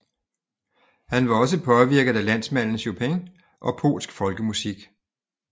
Han var også påvirket af landsmanden Chopin og polsk folkemusik